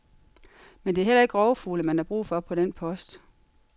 Men det er heller ikke rovfugle, man har brug for på den post.